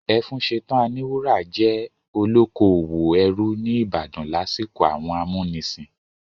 Ẹfúnsetán Aníwúrà jẹ́ olókoòwò ẹrú ní ìbàdàn lásìkò àwọn amúnisìn.